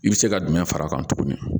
I bɛ se ka jumɛn far'a kan tuguni